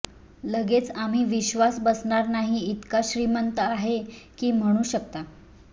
लगेच आम्ही विश्वास बसणार नाही इतका श्रीमंत आहे की म्हणू शकता